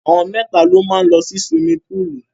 Àwọn mẹ́ta ló máa lọ sí suwimi púùlù.